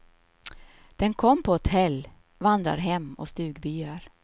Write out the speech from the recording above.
Den kom på hotell, vandrarhem och stugbyar.